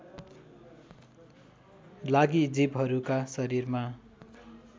लागि जीवहरूका शरीरमा